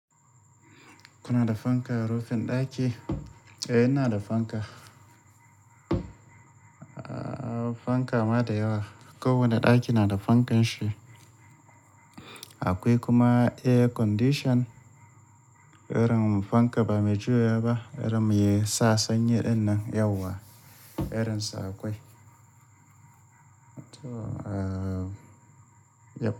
Kuna da fanka a rufin ɗaki? Eh, ina da fanka. Ahhh, fanka ma da yawa. Ko wanne ɗaki na da fankan shi. Akwai kuma air condition. Irin fanka ba mai juyawa ba, irin mai sa sanyi ɗin nan yauwa. Irin sa akwai. To, ahhh, yep.